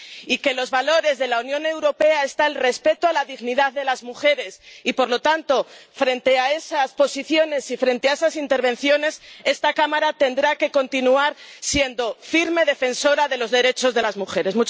y que entre los valores de la Unión Europea está el respeto a la dignidad de las mujeres y, por lo tanto, frente a esas posiciones y frente a esas intervenciones, esta Cámara tendrá que continuar siendo firme defensora de los derechos de las mujeres.